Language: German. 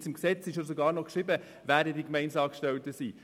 Im Gesetz steht sogar noch, wer die Gemeindeangestellten sind.